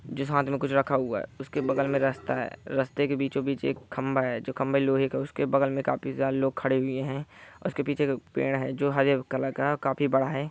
जिस हाथ मे कुछ रखा हुआ है उसके बगल मे रास्ता है रास्ते के बीचों बीच एक खंभा है जो खंभे लोहे का उसके बगल मे काफी लोग खड़े हुए है उसके पीछे पेड़ है जो हरियर कलर का है और काफी बड़ा है ।